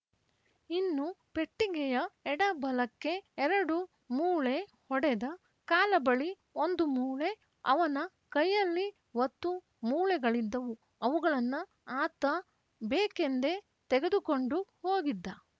ಇನ್ನು ಪೆಟ್ಟಿಗೆಯ ಎಡ ಬಲಕ್ಕೆ ಎರಡು ಮೂಳೆ ಹೊಡೆದ ಕಾಲ ಬಳಿ ಒಂದು ಮೂಳೆ ಅವನ ಕೈಯಲ್ಲಿ ವತ್ತೂ ಮೂಳೆಗಳಿದ್ದವು ಅವುಗಳನ್ನ ಆತ ಬೇಕೆಂದೇ ತೆಗೆದು ಕೊಂಡು ಹೋಗಿದ್ದ